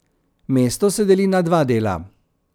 Mesto se deli na dva dela.